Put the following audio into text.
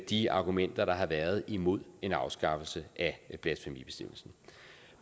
de argumenter der har været imod en afskaffelse af blasfemibestemmelsen